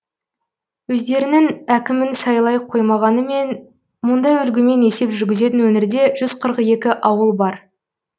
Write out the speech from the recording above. өздерінің әкімін сайлай қоймағанымен мұндай үлгімен есеп жүргізетін өңірде жүз қырық екі ауыл бар